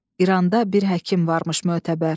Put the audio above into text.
İranda bir həkim varmış mötəbər.